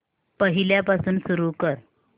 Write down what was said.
पहिल्यापासून सुरू कर